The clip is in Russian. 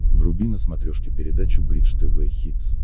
вруби на смотрешке передачу бридж тв хитс